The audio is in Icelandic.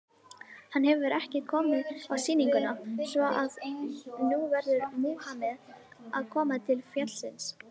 Hann hefur ekki komið á sýninguna, svo að nú verður Múhameð að koma til fjallsins.